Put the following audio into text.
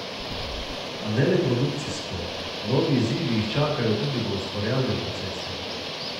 A ne le produkcijsko, novi izzivi jih čakajo tudi v ustvarjalnem procesu.